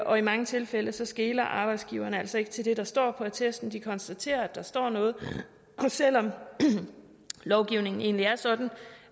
og i mange tilfælde skeler arbejdsgiveren altså ikke til det der står på attesten de konstaterer at der står noget og selv om lovgivningen egentlig er sådan